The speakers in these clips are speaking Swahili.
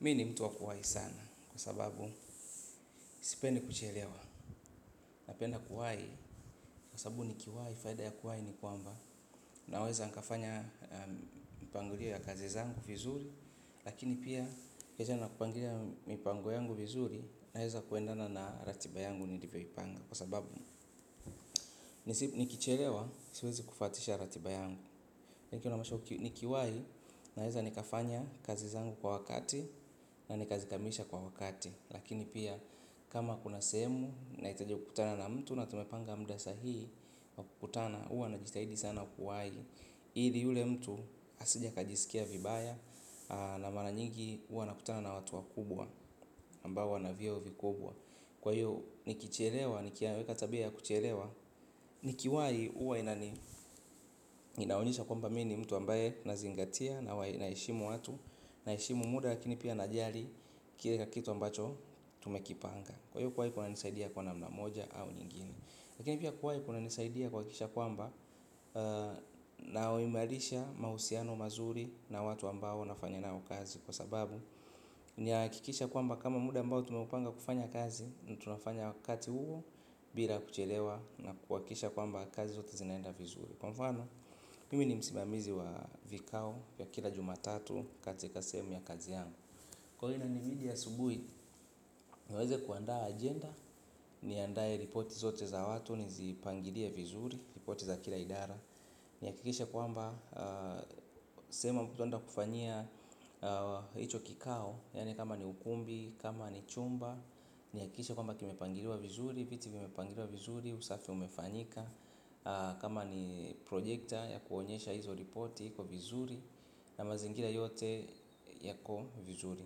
Mi ni mtu wa kuwahi sana kwa sababu sipendi kuchelewa napenda kuwahi kwa sababu ni kiwahi faida ya kuwahi ni kwamba naweza nikafanya mipangilio ya kazi zangu vizuri lakini pia nikiweza na kupangulia mipango yangu vizuri naweza kuendana na ratiba yangu nilivyoipanga kwa sababu ni kichelewa siwezi kufuatisha ratiba yangu. Nikiwahi naweza nikafanya kazi zangu kwa wakati na nikazikamilisha kwa wakati. Lakini pia kama kuna sehemu nahitaje kukutana na mtu na tumepanga muda sahii wa kukutana huwa najitahidi sana kuwahi ili yule mtu asije akajisikia vibaya na mara nyingi huwa nakutana na watu wakubwa ambao wana vyeo vikubwa. Kwa hiyo nikichelewa nikiweka tabia ya kuchelewa nikiwahi huwa inaonyesha kwamba mimi ni mtu ambaye nazingatia naheshimu watu. Naheshimu muda lakini pia najali kile kitu ambacho tumekipanga. Kwa hiyo kuwahi kunanisaidia kwa namna moja au nyingine. Lakini pia kuwahi kunanisaidia kuhakikisha kwamba naimarisha mahusiano mazuri na watu ambao nafanya nao kazi. Kwa sababu nahakikisha kwamba kama muda ambao tumepanga kufanya kazi tunafanya wakati huo bila kuchelewa na kuhakikisha kwamba kazi zote zinaenda vizuri. Kwa mfano, mimi ni msimamizi wa vikao vya kila jumatatu katika sehemu ya kazi yangu. Kwa hio inanibidi asubuhi, niweze kuandaa agenda. Niandae ripoti zote za watu, nizipangilie vizuri, ripoti za kila idara nihakikishe kwamba, sehemu ambayo tunaenda kufanyia hicho kikao yaani kama ni ukumbi, kama ni chumba nihakikishe kwamba kimepangiliwa vizuri, viti vimepangilliwa vizuri, usafi umefanyika. Kama ni projekta ya kuonyesha hizo ripoti kwa vizuri na mazingira yote yako vizuri.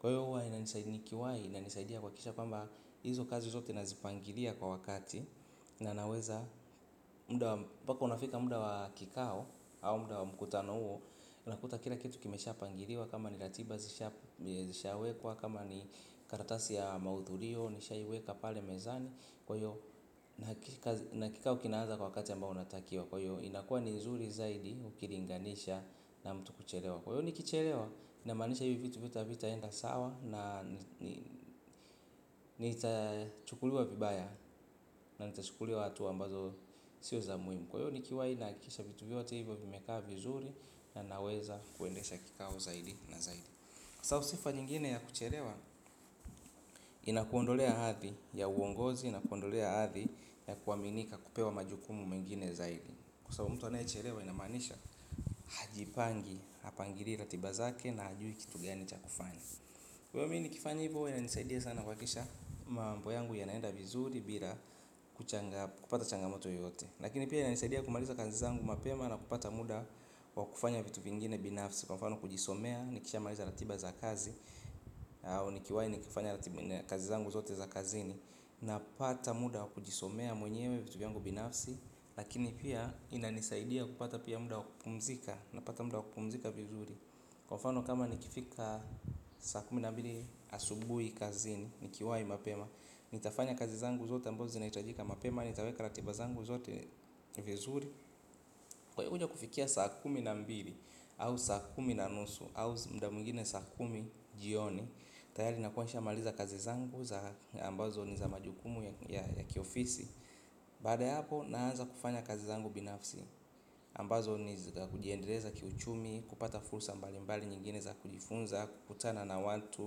Kwa hiyo huwa inanisaidia nikiwahi inanisaidia kuhakikisha kwamba hizo kazi zote nazipangilia kwa wakati. Na naweza, muda mpaka unafika muda wa kikao au muda wa mkutano huo unakuta kila kitu kimeshapangiliwa kama ni ratiba zishawekwa kama ni karatasi ya mauhudhurio, nishaiweka pale mezani kwa hiyo na kikao kinaanza kwa wakati ambao unatakiwa kwa hiyo inakua ni nzuri zaidi ukilinganisha na mtu kuchelewa kwa hivyo nikichelewa inamaanisha hivyo vitu vyote havitaenda sawa nitachukuliwa vibaya na nitachukuliwa hatua ambazo sio za muhimu kwa hivyo nikiwahi nahakikisha vitu vyote hivyo nimeweza kukaa vizuri na naweza kuendesha kikao zaidi na zaidi. Sababu sifa nyingine ya kuchelewa inakuondolea hathi ya uongozi inakuondolea hathi ya kuaminika kupewa majukumu mengine zaidi. So mtu anayechelewa inamaanisha hajipangi hapingilii ratiba zake na hajui kitu gani cha kufanya kwa hivo mimi nikifanya hivyo huwa inanisaidia sana kuhakikisha mambo yangu yanaenda vizuri bila kupata changamoto yoyote. Lakini pia inanisaidia kumaliza kazi zangu mapema na kupata muda wa kufanya vitu vingine binafsi. Kwa mfano kujisomea, nikishamaliza ratiba za kazi au nikiwahi nikifanya kazi zangu zote za kazini. Napata muda wa kujisomea mwenyewe vitu vyangu binafsi lakini pia inanisaidia kupata pia muda kupumzika. Napata muda kupumzika vizuri. Kwa mfano kama nikifika saa kumi na mbili asubuhi kazini. Nikiwahi mapema nitafanya kazi zangu zote amabazo zinahitajika mapema nitaweka ratiba zangu zote vizuri. Kwa hio kuja kufikia saa kumi na mbili au saa kumi na nusu au muda mwingine saa kumi jioni tayari nakuwa nishamaliza kazi zangu za ambazo ni za majukumu ya kiofisi baada hapo naanza kufanya kazi zangu binafsi ambazo ni kujiendeleza kiuchumi kupata fursa mbali mbali nyingine za kujifunza kukutana na watu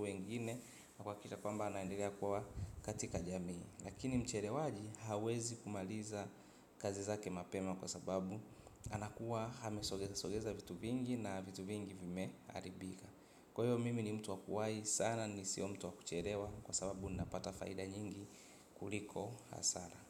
wengine na kuhakikisha naendelea kuwa katika jamii lakini mchelewaji hawezi kumaliza kazi zake mapema kwa sababu anakuwa amesogeza sogeza vitu vingi na vitu vingi vimeharibika kwa hivyo mimi ni mtu wa kuwahi sana mimi sio mtu wakuchelewa. Kwa sababu ni napata faida nyingi kuliko hasara.